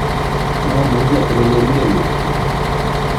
mamuchi atelelen kelyekchu